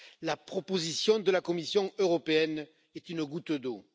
La proposition de la Commission européenne est une goutte d'eau.